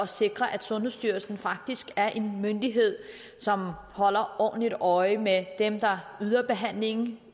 sikre at sundhedsstyrelsen faktisk er en myndighed som holder ordentligt øje med dem der yder behandling